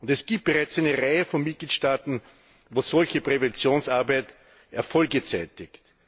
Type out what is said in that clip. Es gibt bereits eine Reihe von Mitgliedstaaten, wo solche Präventionsarbeit Erfolge zeigt.